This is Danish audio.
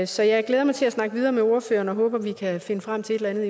så jeg glæder mig til at snakke videre med ordføreren og håber at vi kan finde frem til et eller